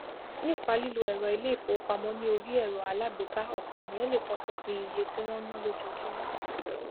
nípa lílo èrọ ilé ìfowópamó ní orí èrọ alágbèéká òpò ènìyàn le topinpin iye tí wón náá lójojúmó